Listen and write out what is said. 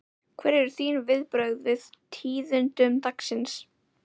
Hver eru þín viðbrögð við tíðindum dagsins?